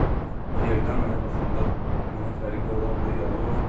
Yerdən aya baxanda mənə fərqi olardı ya yox?